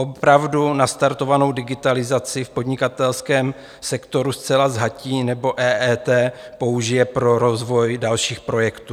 Opravdu nastartovanou digitalizaci v podnikatelském sektoru zcela zhatí, nebo EET použije pro rozvoj dalších projektů?